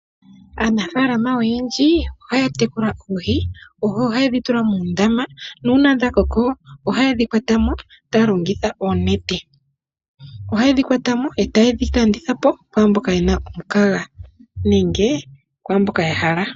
Aanafaalama oyendji ohaya tekula oohi . Oohi ohayedhi tula muundama nuuna dhakoko ohayedhi kwatamo taya longitha oonete. Ohayedhi kwatamo eta yedhi landithapo kwaamboka yena omukaga nenge kwaamboka yahala.